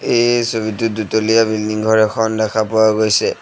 এই ছবিটোত দুতলীয়া বিল্ডিং ঘৰ এখন দেখা পোৱা গৈছে।